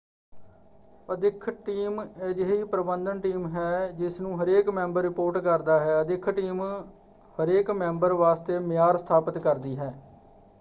ਅਦਿੱਖ team ਅਜਿਹੀ ਪ੍ਰਬੰਧਨ team ਹੈ ਜਿਸਨੂੰ ਹਰੇਕ ਮੈਂਬਰ ਰਿਪੋਰਟ ਕਰਦਾ ਹੈ। ਅਦਿੱਖ ਟੀਮ ਹਰੇਕ ਮੈਂਬਰ ਵਾਸਤੇ ਮਿਆਰ ਸਥਾਪਿਤ ਕਰਦੀ ਹੈ।